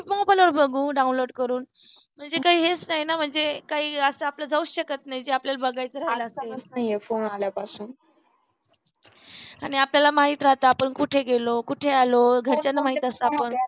Mobile वर बघू download करून म्हणजे काही हेच नाही ना म्हणजे काही आपल जाऊ शकत नाही जे आपल्याला बघायचा राहिल आणि आपल्याला माहीत राहत आपण कुठे गेलो कुठे आलो घरच्यांना माहित असतं. आपण